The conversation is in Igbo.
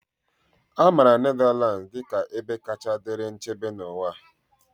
A maara Netherlands dị ka ebe kacha dịrị nchebe n'ụwa.